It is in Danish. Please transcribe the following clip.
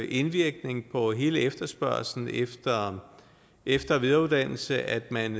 indvirkning på hele efterspørgslen efter efter og videreuddannelse at man